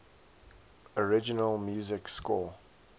original music score